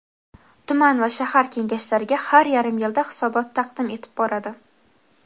tuman va shahar Kengashlariga har yarim yilda hisobot taqdim etib boradi;.